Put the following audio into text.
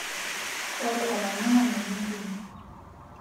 ore olanyuani nitum